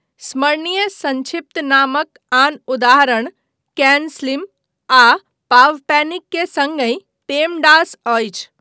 स्मरणीय संक्षिप्त नामक आन उदाहरण 'कैन स्लिम',, आ 'पावपैनिक', के सङ्गहि 'पेमडास' अछि।